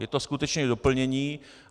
Je to skutečně doplnění.